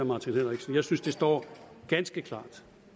martin henriksen jeg synes det står ganske klart